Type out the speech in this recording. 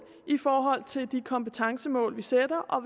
i forhold til de kompetencemål vi sætter og